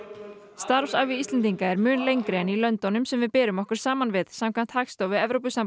starfsævi Íslendinga er mun lengri en í löndunum sem við berum okkur saman við samkvæmt Hagstofu